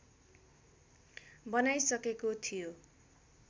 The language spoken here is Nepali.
बनाइसकेको थियो